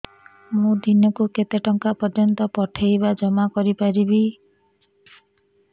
ମୁ ଦିନକୁ କେତେ ଟଙ୍କା ପର୍ଯ୍ୟନ୍ତ ପଠେଇ ବା ଜମା କରି ପାରିବି